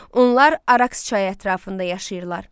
Onlar Araks çayı ətrafında yaşayırlar.